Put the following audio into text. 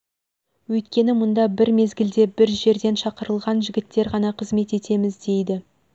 өйткені мұнда бір мезгілде бір жерлен шақырылған жігіттер ғана қызмет етеміз дейді